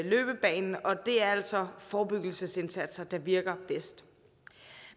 løbebane og det er altså forebyggelsesindsatser der virker bedst